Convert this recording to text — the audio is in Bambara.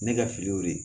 Ne ka filiw de ye